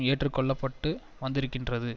ஏற்றுக்கொள்ள பட்டு வந்திருக்கின்றது